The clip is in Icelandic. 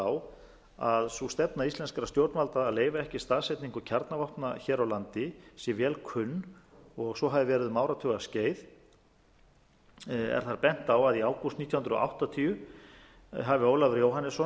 á að sú stefna íslenskra stjórnvalda að leyfa ekki staðsetningu kjarnavopna hér á landi sé vel kunn og svo hafi verið um áratugaskeið er þar bent á að í ágúst nítján hundruð áttatíu hafi ólafur jóhannesson